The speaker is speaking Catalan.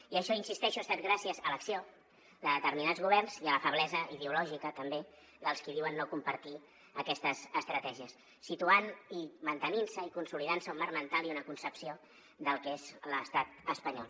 i això hi insisteixo ha estat gràcies a l’acció de determinats governs i a la feblesa ideològica també dels qui diuen no compartir aquestes estratègies situant i mantenint se i consolidant se un marc mental i una concepció del que és l’estat espanyol